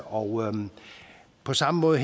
og på samme måde